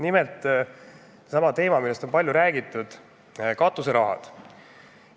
Pean silmas palju räägitud katuserahade teemat.